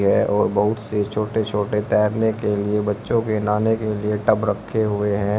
और बहुत से छोटे छोटे तैरने के लिए बच्चों के नहाने के लिए टब रखें हुए हैं।